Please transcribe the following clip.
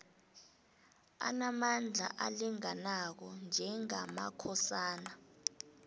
anamandla alinganako njengamakhosana